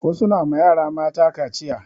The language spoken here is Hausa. Wasu na ma yara mata kaciya